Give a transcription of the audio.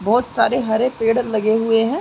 बहुत सारे हरे पेड़ लगे हुए हैं।